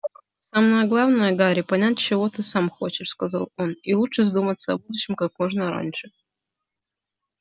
самое главное гарри понять чего ты сам хочешь сказал он и лучше задуматься о будущем как можно раньше